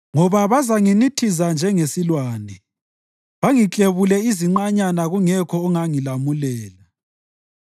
ngoba bazanginithiza njengesilwane bangiklebule iziqanyana kungekho ongangilamulela.